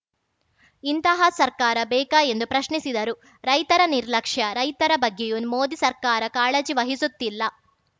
ಇಂತಹ ಸರ್ಕಾರ ಬೇಕಾ ಎಂದು ಪ್ರಶ್ನಿಸಿದರು ರೈತರ ನಿರ್ಲಕ್ಷ್ಯ ರೈತರ ಬಗ್ಗೆಯೂ ಮೋದಿ ಸರ್ಕಾರ ಕಾಳಜಿ ವಹಿಸುತ್ತಿಲ್ಲ